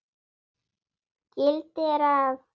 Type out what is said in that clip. gildir að